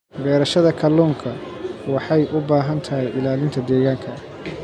Beerashada kalluunka waxay u baahan tahay ilaalinta deegaanka.